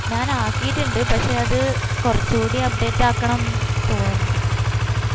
ഞാൻ ആകിറ്റിണ്ട് പക്ഷെ അത് കൊറച് കൂടി update ആകണം തോന്നുന്നു